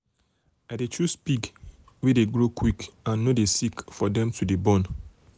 i dey choose pig wey dey grow quick quick and no dey sick for them to dey born.